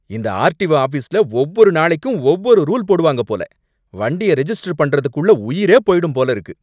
இந்த ஆர்டிஓ ஆஃபீஸ்ல ஒவ்வொரு நாளைக்கும் ஒவ்வொரு ரூல் போடுவாங்க போல. வண்டிய ரெஜிஸ்டர் பண்றதுக்குள்ள உயிரே போயிடும் போல இருக்கு.